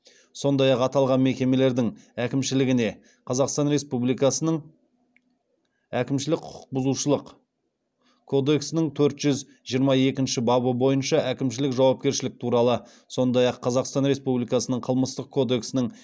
сондай ақ аталған мекемелердің әкімшілігіне қазақстан республикасының әкімшілік құқық бүзушылық кодексінің төрт жүз жиырма екінші бабы бойынша әкімшілік жауапкершілік туралы сондай ақ қазақстан республикасының қылмыстық кодексінің